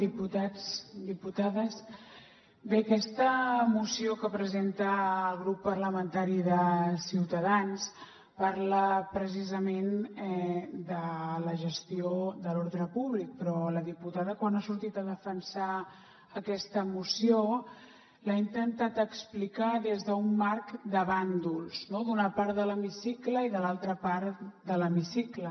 diputats diputades bé aquesta moció que presenta el grup parlamentari de ciutadans parla precisament de la gestió de l’ordre públic però la diputada quan ha sortit a defensar aquesta moció l’ha intentat explicar des d’un marc de bàndols no d’una part de l’hemicicle i de l’altra part de l’hemicicle